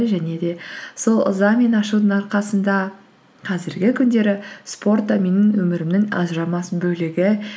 және де сол ыза мен ашудың арқасында қазіргі күндері спорт та менің өмірімнің ажырамас бөлігі